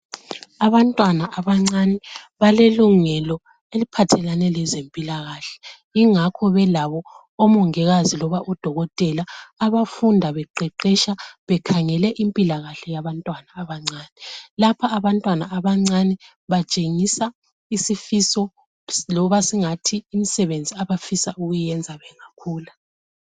Abantwana abancane balelungelo eliphathelane lezempilakahle yingakho belabo omongikazi loba odokotela abafunda beqeqesha bekhangele impilakahle yabantwana abancane lapha abantwana abancane batshengisa isifiso loba singathi imisebenzi abafisa ukuyi yenza bengakhulu